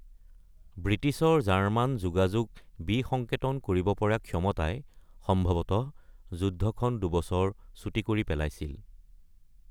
ব্ৰিটিছৰ জাৰ্মান যোগাযোগ বিসংকেতন কৰিব পৰা ক্ষমতাই সম্ভৱতঃ যুদ্ধখন দুবছৰ চুটি কৰি পেলাইছিল।